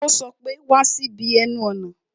Ó sọ pé "Wá sí ibi ẹnu ọ̀nà ńlá"